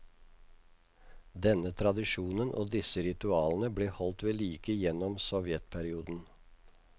Denne tradisjonen og disse ritualene ble holdt ved like gjennom sovjetperioden.